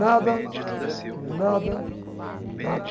Nada, nada, nada.